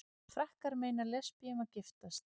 Frakkar meina lesbíum að giftast